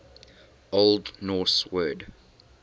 old norse word